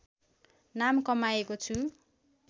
नाम कमाएको छु